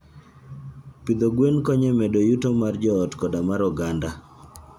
Pidho gwen konyo e medo yuto mar joot koda mar oganda.